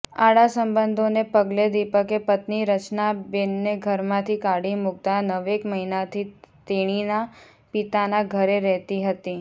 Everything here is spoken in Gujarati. આડાસબંધોને પગલે દીપકે પત્ની રચનાબેનને ઘરમાંથી કાઢી મૂકતા નવેક મહિનાથી તેણીના પિતાના ઘરે રહેતી હતી